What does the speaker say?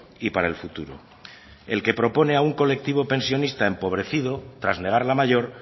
y para el futuro el que propone a un colectivo pensionista empobrecido tras negar la mayor